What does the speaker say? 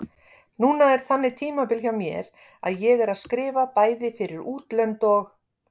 Núna er þannig tímabil hjá mér að ég er að skrifa bæði fyrir útlönd og